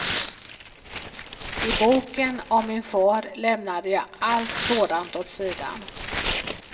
I boken om min far lämnade jag allt sådant åt sidan.